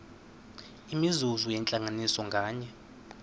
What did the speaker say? imizuzu yentlanganiso nganye